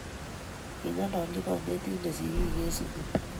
Kingololji konetindet sigiik eng sugul